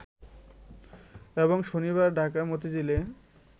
এবং শনিবার ঢাকার মতিঝিলে